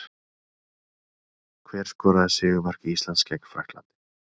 Hver skoraði sigurmark Íslands gegn Frakklandi?